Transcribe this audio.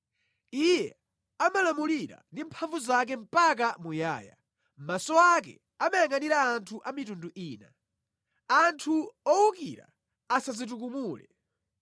Iye amalamulira ndi mphamvu zake mpaka muyaya, maso ake amayangʼanira anthu a mitundu ina. Anthu owukira asadzitukumule.